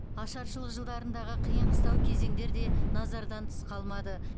ашаршылық жылдарындағы қиын қыстау кезеңдер де назардан тыс қалмады